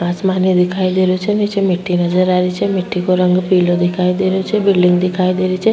आसमान दिखाई दे रो छे निचे मिट्टी नज़र आ री छे मिट्टी को रंग पिलो दिखाई दे रो छे बिल्डिंग दिखाई दे री छे।